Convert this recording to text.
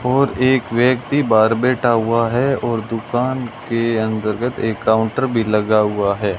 और एक व्यक्ति बाहर बैठा हुआ है और दुकान के अंतर्गत एक काउंटर भी लगा हुआ है।